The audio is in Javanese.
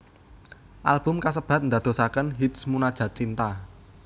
Album kasebat ndadosaken hits Munajat Cinta